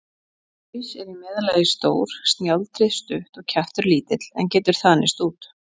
Haus er í meðallagi stór, snjáldrið stutt og kjaftur lítill, en getur þanist út.